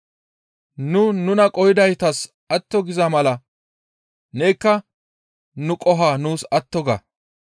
Nu nuna qohidaytas atto giza mala nekka nu qoho nuus atto ga.